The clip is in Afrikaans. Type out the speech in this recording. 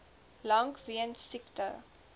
lank weens siekte